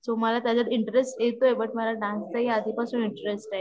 so मला त्याच्यात interest येतोय पण मला डान्स मध्ये आधी पासून इंटरेस्ट आहे